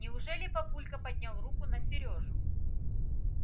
неужели папулька поднял руку на сережу